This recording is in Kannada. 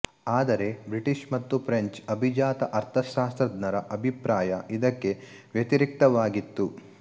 ಆದರೆ ಬ್ರಿಟಿಷ್ ಮತ್ತು ಫ್ರೆಂಚ್ ಅಭಿಜಾತ ಅರ್ಥಶಾಸ್ತ್ರಜ್ಞರ ಅಭಿಪ್ರಾಯ ಇದಕ್ಕೆ ವ್ಯತಿರಿಕ್ತವಾಗಿತ್ತು